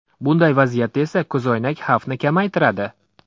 Bunday vaziyatda esa ko‘zoynak xavfni kamaytiradi.